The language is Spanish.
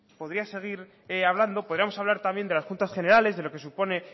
podríamos hablar también de las juntas generales de lo que supone